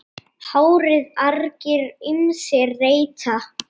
HÁRIÐ argir ýmsir reyta.